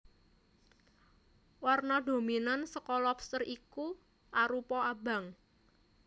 Warna dominan saka lobster iki arupa abang